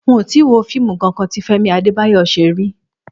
N ò tíì wo fíìmù kankan tí Fé̩mi Adébáyò̩ s̩e rí